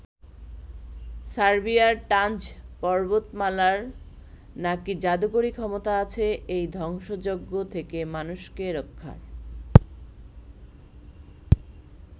সার্বিয়ার টানজ পর্বতমালার নাকি যাদুকরি ক্ষমতা আছে এই ধ্বংসযজ্ঞ থেকে মানুষকে রক্ষার।